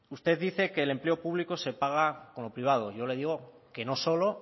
usted dice que el empleo público se paga con lo privado yo le digo que no solo